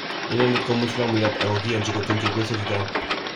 Inendet ko muislamuyat ako kiyanji kutun chebyosok chechang.